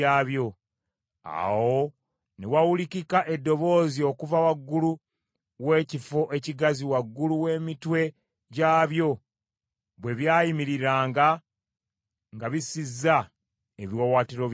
Awo ne wawulikika eddoboozi okuva waggulu w’ekifo ekigazi waggulu w’emitwe gyabyo, bwe byayimiriranga nga bissizza ebiwaawaatiro byabyo.